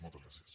moltes gràcies